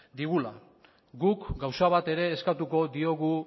digula guk gauza bat ere eskatuko diogu